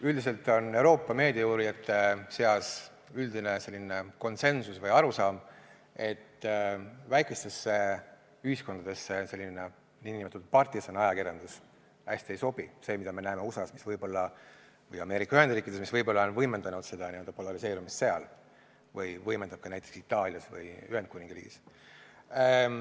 Üldiselt on Euroopa meediauurijate seas konsensus või arusaam, et väikestesse ühiskondadesse selline nn partisaniajakirjandus hästi ei sobi, see, mida me näeme USA-s, Ameerika Ühendriikides, mis võib-olla on võimendanud seda n-ö polariseerumist seal või võimendab seda ka näiteks Itaalias või Ühendkuningriigis.